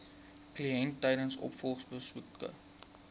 kliënt tydens opvolgbesoeke